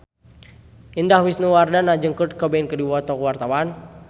Indah Wisnuwardana jeung Kurt Cobain keur dipoto ku wartawan